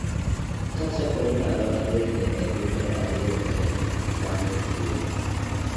Ka chakore ndalo adek nyaka jumbe ariyo to gamo tuo.